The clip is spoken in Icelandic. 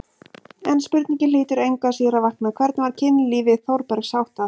En spurningin hlýtur engu að síður að vakna: hvernig var kynlífi Þórbergs háttað?